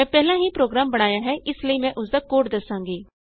ਮੈਂ ਪਹਿਲਾਂ ਹੀ ਪ੍ਰੋਗਰਾਮ ਬਣਾਇਆ ਹੈ ਇਸ ਲਈ ਮੈਂ ਉਸਦਾ ਕੋਡ ਦਸਾਂਗੀ